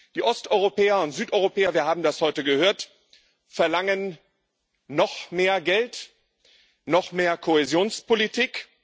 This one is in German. Die Osteuropäer und Südeuropäer wir haben das heute gehört verlangen noch mehr Geld, noch mehr Kohäsionspolitik.